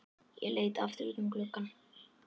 Ég leit aftur út um gluggann.